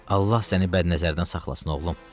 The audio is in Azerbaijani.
Allah səni bədnəzərdən saxlasın, oğlum,